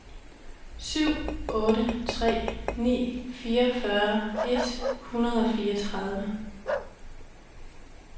syv otte tre ni fireogfyrre et hundrede og fireogtredive